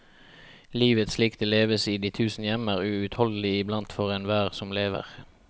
Livet slik det leves i de tusen hjem er uutholdelig iblant for enhver som lever.